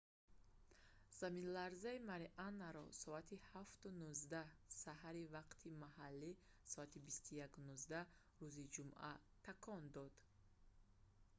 заминларза марианаро соати 07:19 саҳари вақти маҳаллӣ соати 21:19 gmt рӯзи ҷумъа такон дод